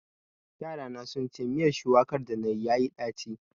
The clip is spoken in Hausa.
Yarana sun ce miyar shuwakar danayi yayi ɗaci.